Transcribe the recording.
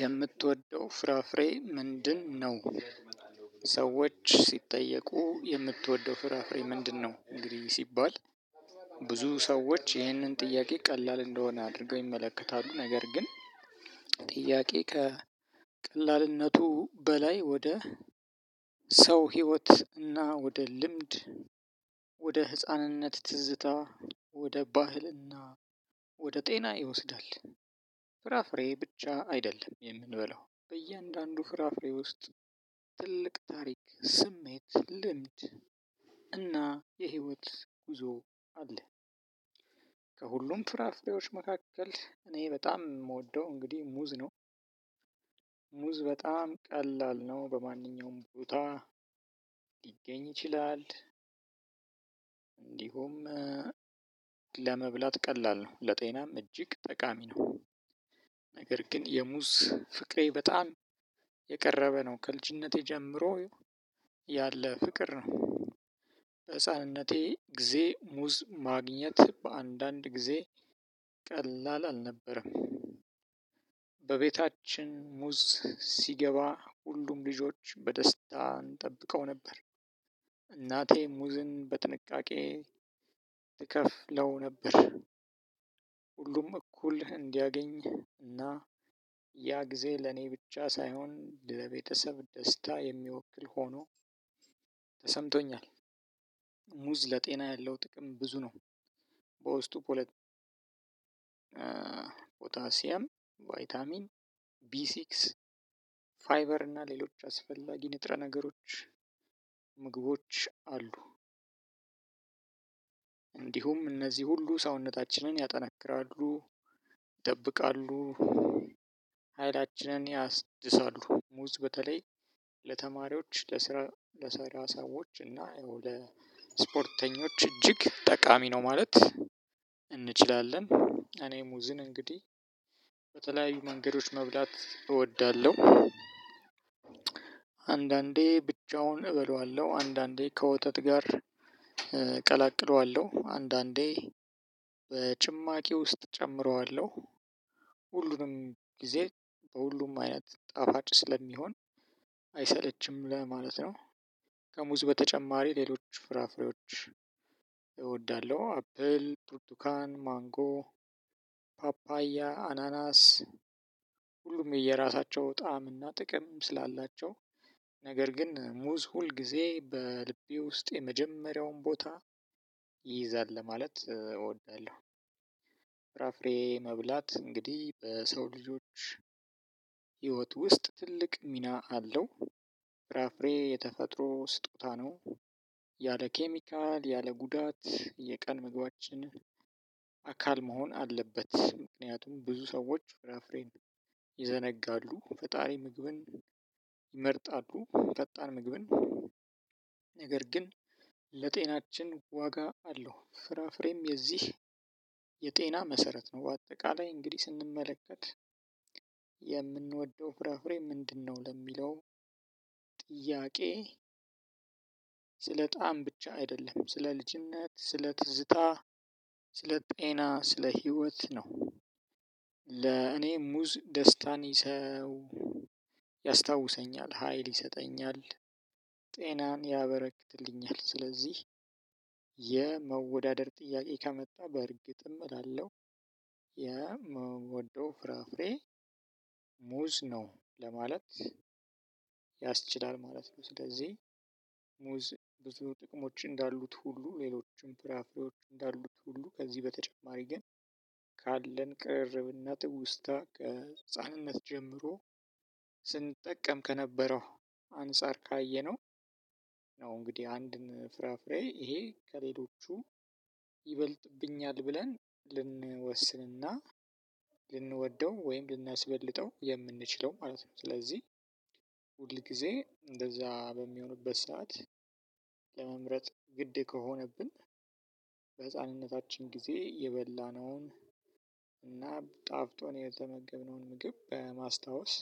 የምትወደው ፍራፍሬ ምንድነው ሰዎች ሲጠየቁ የምትወደው ፍራፍሬ ምንድነው ሲባል ብዙ ሰዎች ይህንን ጥያቄ ቀላል እንደሆነ አድርገው ይመለከታሉ። ነገር ግን ጥያቄ ከቀላልነቱ በላይ ወደ ሰው ህይወት እና ወደ ልምድ ወደ ህፃንነት ትዝታ ወደ ባህልና ወደ ጤና ይወስዳል። ፍራፍሬ ብቻ አይደለም የምንበላው። በእያንዳንዱ ፍራፍሬ ውስጥ ትልቅ ታሪክ፣ ስሜት፣ ልምድ እና የህይወት ጉዞ አለ። ከሁሉም ፍራፍሬዎች መካከል እኔ በጣም የምወደው እንግዲህ ሙዝ ነው። ሙዝ በጣም ቀላል ነው በማንኛውም ቦታ ሊገኝ ይችላል። እንዲሁም ለመብላት ቀላል ነው ለጤናም እጅግ ጠቃሚ ነው። ነገር ግን ግን የሙዝ ፍቅሬ በጣም የቀረበ ነው ከልጅነቴ ጀምሮ ያለ ፍቅር ነው። በህፃንነቴ ጊዜ ሙዝ ማግኘት በአንዳንድ ጊዜ ቀላል አልነበረም። በቤታችን ሙዝ ሲገባ ሁሉም ልጆች በደስታ እንጠብቀው ነበር። እናቴ ሙዝን በጥንቃቄ ትከፍለው ነበር። ሁሉም እኩል እንዲያገኝ እና ያ ጊዜ ለኔ ብቻ ሳይሆን ለቤተሰብ ደስታ የሚወክል ሆኖ ተሰምቶኛል። ሙዝ ለጤና ያለው ጥቅም ብዙ ነው። በውስጡ ፖለት፣ ፖታሲዬም፣ ቫይታሚን ቢሲክስ፣ ፋይበር እና ሌሎች አስፈላጊ ንጥረ ነገሮች ምግቦች አሉ። እንዲሁም እነዚህ ሁሉ ሰውነታችንን ያጠናክራሉ፣ ይጠብቃሉ፣ ኃይላችንን ያስድሳሉ። ሙዝ በተለይ ለተማሪዎች ለስራ ለሰራ ሰዎች እና ለስፖርተኞች እጅግ ጠቃሚ ነው። ማለት እንችላለን። እኔ ሙዝን እንግዲህ በተለያዩ መንገዶች መብላት እወዳለሁ። አንዳንዴ ብቻውን እበላዋለሁ። አንዳንዴ ከወተት ጋር ቀላቅለዋለሁ፣ አንዳንዴ በጭማቂ ውስጥ እጨምረዋለሁ ሁሉንም ጊዜ በሁሉም አይነት ጠፋጭ ስለሚሆን አይሰለችም ለማለት ነው። ከሙዝ በተጨማሪ ሌሎች ፍራፍሬዎች እወዳለሁ። አፕል፣ ብርቱካን፣ ማንጎ፣ ፓፓያ፣ አናናስ ሁሉም የየራሳቸው ጣዕም እና ጥቅም ስላላቸው ነገር ግን ሙዝ ሁል ጊዜ በልቤ ውስጥ የመጀመሪያውን ቦታ ይይዛል ለማለት እወዳለሁ። ፍራፍሬ መብላት እንግዲህ በሰው ልጆች ህይወት ውስጥ ትልቅ ሚና አለው። ፍራፍሬ የተፈጥሮ ስጦታ ነው። ያለ ኬሚካል፣ ያለ ጉዳት የቀን ምግባችንን አካል መሆን አለበት። ምክንያቱም ብዙ ሰዎች ፍራፍሬን ይዘነጋሉ። ፈጣሪ ምግብን ይመርጣሉ። ፈጣን ምግብን ነገር ግን ለጤናችን ዋጋ አለው። ፍራፍሬም የዚህ የጤና መሰረት ነው። በአጠቃላይ እንግዲህ ስንመለከት የምንወደው ፍራፍሬ ምንድነው? ለሚለው ጥያቄ ስለ ጣዕም ብቻ አይደለም። ስለ ልጅነት፣ ስለ ትዝታ፣ ስለ ጤና፣ ስለ ህይወት ነው። ለእኔ ሙዝ ደስታን ይዘው ያስታውሰኛል። ሀይል ይሰጠኛል ጤናን ያበረክትልኛል። ስለዚህ የመወዳደር ጥያቄ ከመጣ በእርግጥም እላለሁ የምወደው ፍራፍሬ ሙዝ ነው ለማለት ያስችላል ማለት ነው። ስለዚህ ሙዝ ብዙ ጥቅሞች እንዳሉት ሁሉ ሌሎችም ፍራፍሬዎች እንዳሉት ሁሉ ከዚህ በተጨማሪ ግን ካለን ቅርርብነት ትውስታ ከህፃንነት ጀምሮ ስንጠቀም ከነበረው አንፃር ካየነው ነው እንግዲህ አንድን ፍራፍሬ ይሄ ከሌሎቹ ይበልጡብኛል ብለን ልንወስንና ልንወደው ወይም ልናስበልጠው የምንችለው ማለት ነው። ስለዚህ ሁል ጊዜ እንደዛ በሚሆንበት ሰዓት ለመምረጥ ግድ ከሆነብን በህፃንነታችን ጊዜ የበላነውን እና ጣፍጦን የተመገብነውን ምግብ በማስታወስ